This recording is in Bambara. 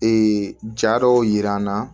Ee ja dɔw yira n na